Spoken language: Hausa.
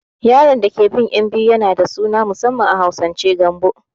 Yaron dake bin ƴan biyu yana da suna na musamman a Hausance Gambo